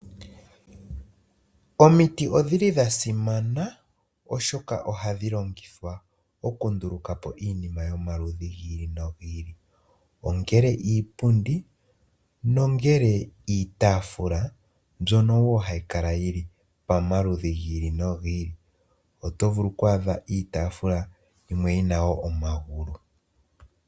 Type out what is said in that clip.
Omiti odhi li dha simana oshoka ohadhi longithwa oku nduluka po iinima yomaludhi gi ili nogi ili ongele iipundi, nongele iitaafula mbyono wo hayi kala yili pamaludhi gi ili nogi ili. Oto vulu oku adha iitaafula yimwe yina wo omagulu.